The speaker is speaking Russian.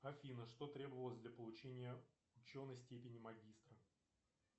афина что требовалось для получения ученой степени магистра